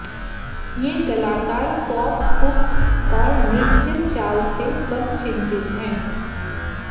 ये कलाकार pop hook और नृत्य चाल से कम चिंतित हैं